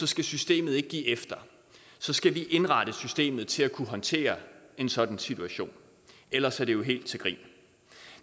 skal systemet ikke give efter så skal vi indrette systemet til at kunne håndtere en sådan situation ellers er det jo helt til grin